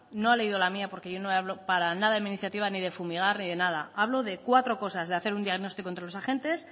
no ha leído la mía porque yo no hablo para nada en mi iniciativa ni de fumigar ni de nada hablo de cuatro cosas de hacer un diagnóstico entre los agentes